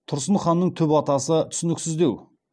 тұрсын ханның түп атасы түсініксіздеу